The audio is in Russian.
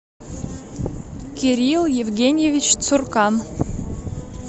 кирилл евгеньевич цуркан